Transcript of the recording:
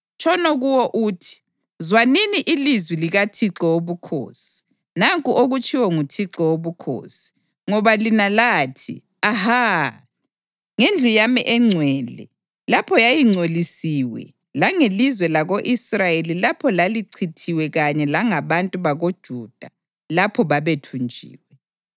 Tshono kuwo uthi, ‘Zwanini ilizwi likaThixo Wobukhosi. Nanku okutshiwo nguThixo Wobukhosi: Ngoba lina lathi “Aha!” ngendlu yami engcwele lapho yayingcolisiwe langelizwe lako-Israyeli lapho lalichithiwe kanye langabantu bakoJuda lapho babethunjiwe,